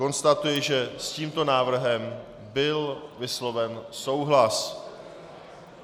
Konstatuji, že s tímto návrhem byl vysloven souhlas.